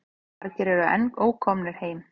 Margir eru enn ókomnir heim.